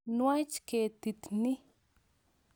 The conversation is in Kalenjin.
Nwach ketit ni.